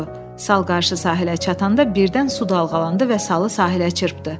Sal qarşı sahilə çatanda birdən su dalğalandı və salı sahilə çırpdı.